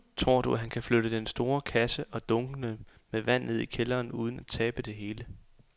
Tror du, at han kan flytte den store kasse og dunkene med vand ned i kælderen uden at tabe det hele?